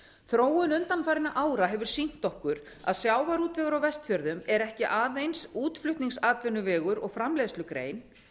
þróun undanfarinna ára hefur sýnt okkur að sjávarútvegur á vestfjörðum er ekki aðeins útflutningsatvinnuvegur og framleiðslugrein